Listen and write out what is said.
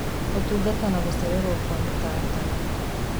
Ũtungata na gũcererũo kwa mĩtaratara